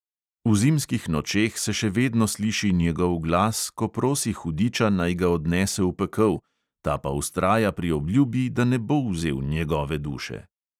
V zimskih nočeh se še vedno sliši njegov glas, ko prosi hudiča, naj ga odnese v pekel, ta pa vztraja pri obljubi, da ne bo vzel njegove duše…